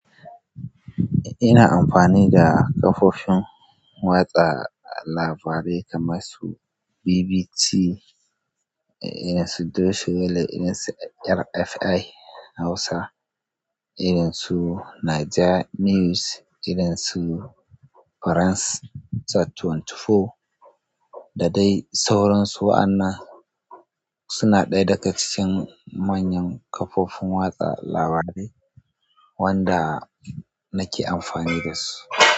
Ina amfani da kafofin watsa labarai kamar su BBC, irin su Dutch Welle, irin su RFI Hausa, irin su Naja News, irin su France ashirin da huɗu. Da dai sauransu. Wa'annan suna ɗaya daga cikin manyan kafofin watsa labarai wanda nake amfani da su.